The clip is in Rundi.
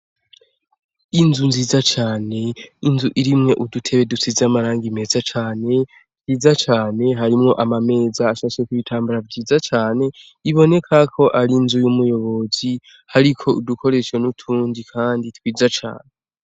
Inzu nziza cane ,inzu irimwo udutebe dusize amarangi meza cane ,twiza cane harimwo amameza ashasheko ibitambara vyiza cane iboneka ko ari inzu y'umuyobozi hariko udukoresho n'utundi kandi twiza cane.